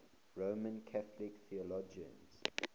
roman catholic theologians